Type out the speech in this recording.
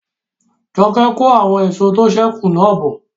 Joke n kó àwọn èso tó sẹ́ kù náà bọ̀